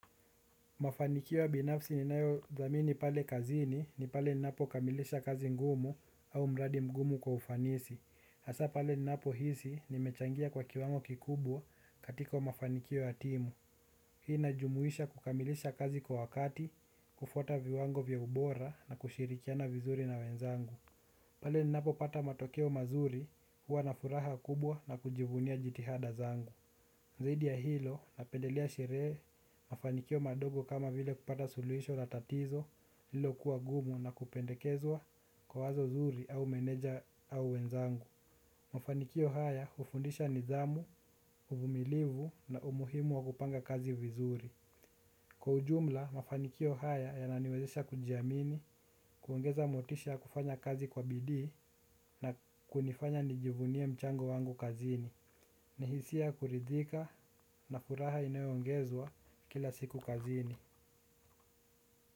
Mafanikio ya binafsi ninayo dhamini pale kazini ni pale ninapo kamilisha kazi ngumu au mradi mgumu kwa ufanisi. Hasa pale ninapo hisi nimechangia kwa kiwango kikubwa katika mafanikio ya timu. Hii inajumuisha kukamilisha kazi kwa wakati, kufuata viwango vya ubora na kushirikiana vizuri na wenzangu. Pale ninapo pata matokeo mazuri huwa na furaha kubwa na kujivunia jitihada zangu. Zaidi ya hilo, napendelea sherehe, mafanikio madogo kama vile kupata suluhisho la tatizo, lililo kuwa gumu na kupendekezwa kwa wazo zuri au meneja au wenzangu. Mafanikio haya hufundisha nidhamu, uvumilivu na umuhimu wa kupanga kazi vizuri. Kwa ujumla, mafanikio haya yananiwezesha kujiamini, kuongeza motisha ya kufanya kazi kwa bidii na kunifanya nijivunie mchango wangu kazini. Ni hisia ya kuridhika na furaha inayoongezwa kila siku kazini.